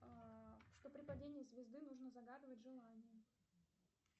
что при падении звезды нужно загадывать желание